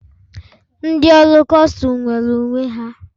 Ndị ọrụ Kustum nwere uwe ha.